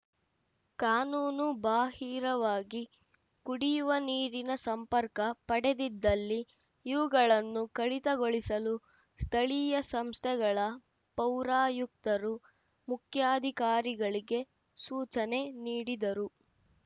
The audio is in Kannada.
ಕಾನೂನು ಬಾಹಿರವಾಗಿ ಕುಡಿಯುವ ನೀರಿನ ಸಂಪರ್ಕ ಪಡೆದಿದ್ದಲ್ಲಿ ಇವುಗಳನ್ನು ಕಡಿತಗೊಳಿಸಲು ಸ್ಥಳೀಯ ಸಂಸ್ಥೆಗಳ ಪೌರಾಯುಕ್ತರು ಮುಖ್ಯಾಧಿಕಾರಿಗಳಿಗೆ ಸೂಚನೆ ನೀಡಿದರು